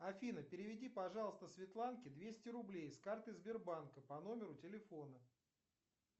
афина переведи пожалуйста светланке двести рублей с карты сбербанка по номеру телефона